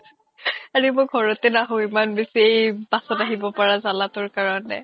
আৰে মই ঘৰতে নাহো ইমান same bus ত আহিব লগা জালা তোৰ কাৰনে